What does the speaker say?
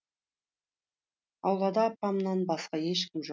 аулада апамнан басқа ешкім жоқ